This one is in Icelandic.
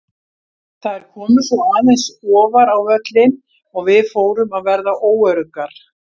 Þær komu svo aðeins ofar á völlinn og við fórum að verða óöruggar.